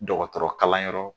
Dɔgɔtɔrɔ kala yɔrɔ